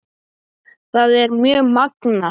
Það er mjög magnað.